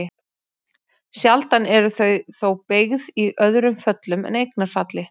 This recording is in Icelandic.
Sjaldan eru þau þó beygð í öðrum föllum en eignarfalli.